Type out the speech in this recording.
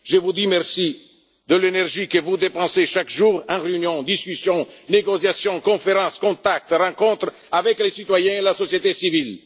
électoraux. Je vous dis merci de l'énergie que vous dépensez chaque jour en réunions, discussions, négociations, conférences, contacts, rencontres avec les citoyens et la société